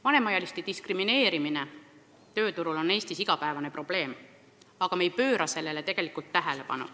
Vanemaealiste diskrimineerimine tööturul on Eestis igapäevane probleem, aga me ei pööra sellele tegelikult tähelepanu.